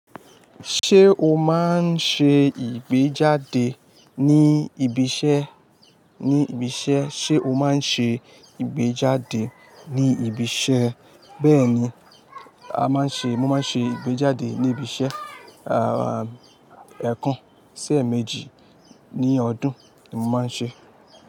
Ṣé o máa ń ṣe ìgbéjáde ní ibi iṣẹ́? Ní ibi iṣẹ́, ṣe o máa ń ṣe ìgbéjáde ní ibi iṣẹ́? Bẹ́ẹ̀ni, a máa ń ṣe, mo máa ń ṣe ìgbéjáde ní ibi iṣẹ́, ẹ̀ẹ̀kan, sí ẹ̀méjì ní ọdún ni mo máa ń ṣe.